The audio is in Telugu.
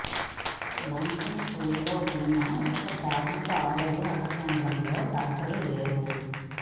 లచ్చంపూర్లో ఉన్న ఒక ప్రాథమిక ఆరోగ్య ఉప కేంద్రంలో డాక్టర్లు లేరు